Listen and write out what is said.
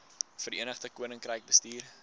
verenigde koninkryk bestuur